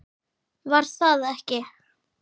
Var það ekki????